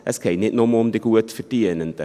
Es geht nicht nur um die Gutverdienenden.